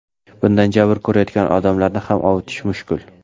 Bundan jabr ko‘rayotgan odamlarni ham ovutish mushkul.